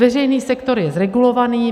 Veřejný sektor je zregulovaný.